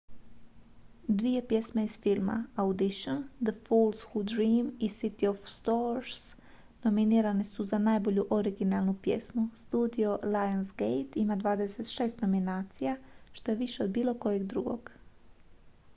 dvije pjesme iz filma: audition the fools who dream i city of stars nominirane su za najbolju originalnu pjesmu. studio lionsgate ima 26 nominacija što je više od bilo kojeg drugog